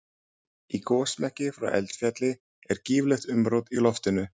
Í gosmekki frá eldfjalli er gífurlegt umrót í loftinu.